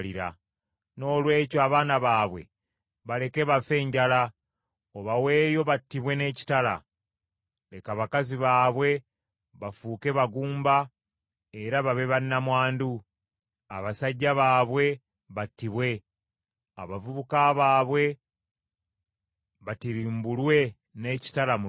Noolwekyo abaana baabwe baleke bafe enjala, obaweeyo battibwe n’ekitala. Leka bakazi baabwe bafuuke bagumba era babe bannamwandu; abasajja baabwe battibwe; abavubuka baabwe batirimbulwe n’ekitala mu lutalo.